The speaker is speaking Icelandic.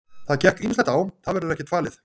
Það gekk ýmislegt á, það verður ekkert falið.